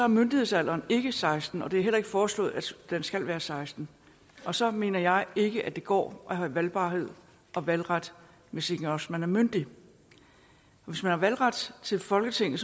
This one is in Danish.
myndighedsalderen ikke seksten år og det er heller ikke foreslået at den skal være seksten år og så mener jeg ikke at det går at have valgbarhed og valgret hvis ikke også man er myndig hvis man har valgret til folketinget